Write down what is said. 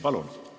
Palun!